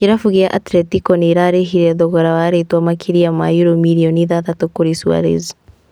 Kĩrabu kĩa Atletico nĩrarĩhire thogora wa rĩtwa makĩria ma yuro mirioni ithathatũ kũrĩ Suarez